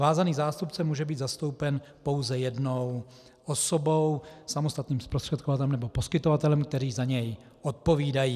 Vázaný zástupce může být zastoupen pouze jednou osobou, samostatným zprostředkovatelem nebo poskytovatelem, kteří za něj odpovídají.